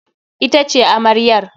Ita ce amaryar.